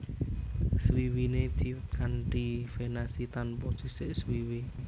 Swiwine ciut kanti venasi tanpa sisik swiwi